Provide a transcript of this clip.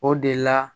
O de la